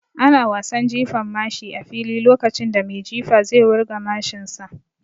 Ana wasan Jifan mashi a fili lokacin da mai jifa zai wurga mashin sa